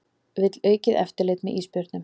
Vill aukið eftirlit með ísbjörnum